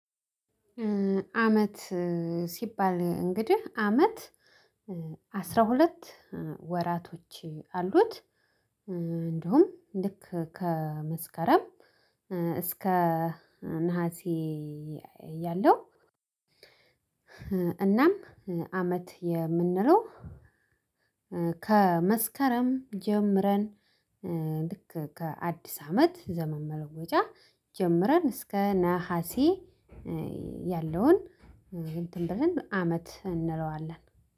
አመት ሲባል እንግዲህ አመት አስራ ሁለት ወራቶች አሉት። እንደውም ልክ ከመስከረም እስከ ነሀሴ ያለው እናም አመት የምንለው ከመስከረም ጀምረን ልክ ከአዲስ አመት ዘመን መለወጫ ጀምረን እስከ ነሀሴ ያለውን እንትን ብለን አመት እንለዋለን።